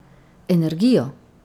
Energijo?